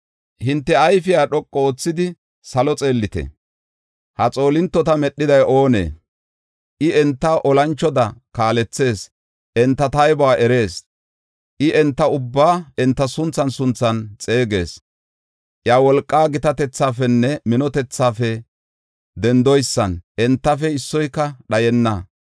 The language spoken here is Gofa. Hinte ayfiya dhoqu oothidi salo xeellite; ha xoolintota medhiday oonee? I enta olanchoda kaalethees; enta taybuwa erees. I enta ubbaa enta sunthan sunthan xeegees; iya wolqa gitatethaafenne minotethafe dendoysan, entafe issoyka dhayenna.